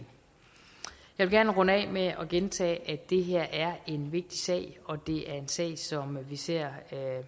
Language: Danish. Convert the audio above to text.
vil gerne runde af med at gentage at det her er en vigtig sag og det er en sag som vi ser